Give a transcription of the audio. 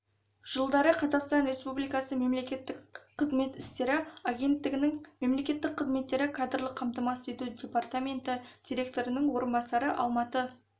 жылдары қазақстан республикасы мемлекеттік қызмет істері агенттігінің мемлекеттік қызметті кадрлық қамтамасыз ету департаменті директорының орынбасары алматы